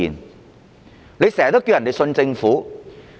官員經常要求市民相信政府。